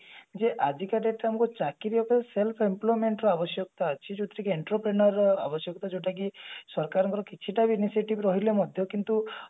ଯେ ଆଜିକା date ରେ ଆମକୁ ଚାକିରି ଉପରେ self employment ର ଆବଶ୍ୟକତା ଅଛି ଯୋଉଥିରେ କି entropion ର ଆବଶ୍ୟକତା ଯୋଉଟା କି ସରକାର ଙ୍କର କିଛି ଟା ବି initiative ରହିଲେ ମଧ୍ୟ କିନ୍ତୁ